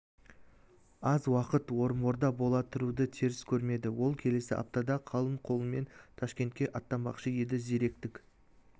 аз уақыт орынборда бола тұруды теріс көрмеді ол келесі аптада қалың қолымен ташкентке аттанбақшы еді зиректік